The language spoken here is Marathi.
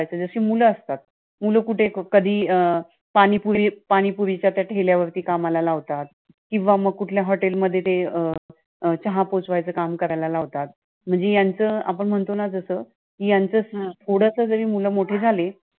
पानीपुरी, पानीपुरीच्या त्या ठेल्यावरती कामाला लावतात, किंवा मग कुठल्या hotel मध्ये ते अं ते अं चहा पोचवायच काम करायला लावतात, आता, म्हंजी यांचं, आपण म्हणतो न जसं, कि यांचं थोडसं जरी मुलं मोठी झाली